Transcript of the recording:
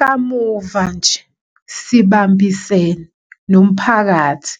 Kamuva nje, sibambisene, nomphakathi,